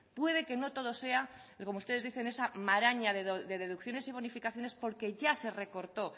puede que no todo sea como ustedes dicen esa maraña de deducciones y bonificaciones porque ya se recortó